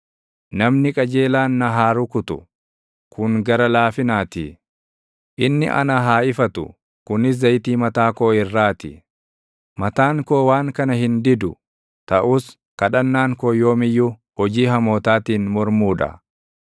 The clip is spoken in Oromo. Namni qajeelaan na haa rukutu; kun gara laafinaatii; inni ana haa ifatu; kunis zayitii mataa koo irraatti. Mataan koo waan kana hin didu. Taʼus kadhannaan koo yoom iyyuu hojii hamootaatiin mormuu dha.